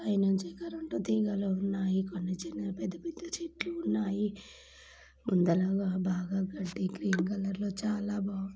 పై నుంచి కరెంట్ తీగలు ఉన్నాయి కొన్ని చిన్న పెద్ద-పెద్ద చెట్లు ఉన్నాయి ఇందులో బాగా గడ్డి చాలా గ్రీన్ కలర్ లో చాలా బాగుంది.